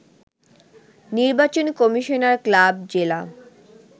নির্বাচন commissioner club, জেলা